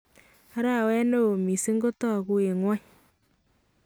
Arawet neon missing kotakuu en ing'wany